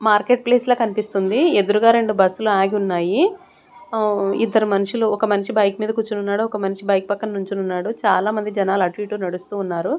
Market place లా కనిపిస్తుంది ఎదురుగా రెండు బస్సులు ఆగి ఉన్నాయి ఇద్దరు మనుషులు ఒక మనిషి బైక్ మీద కూర్చున్నాడు ఒక మనిషి బైక్ పక్కన నించున్నాడు చాలామంది జనాలు అటు ఇటు నడుస్తూ ఉన్నారు.